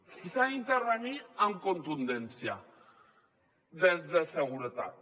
i s’ha d’intervenir amb contundència des de seguretat